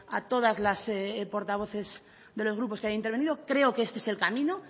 a todas las portavoces de los grupos que han intervenido creo que este es el camino